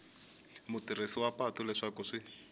mutirhisi wa patu leswaku swi